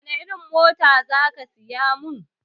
Wani irin mota za ka siya mun?